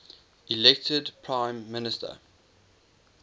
elected prime minister